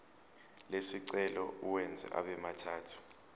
lesicelo uwenze abemathathu